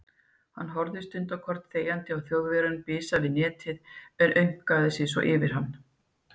Hann horfði stundarkorn þegjandi á Þjóðverjann bisa við netið en aumkvaði sig svo yfir hann.